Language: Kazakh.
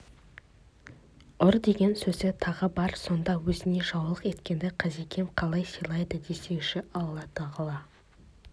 ұр деген сөзі тағы бар сонда өзіне жаулық еткенді қазекем қалай сыйлайды десеңші алла тағала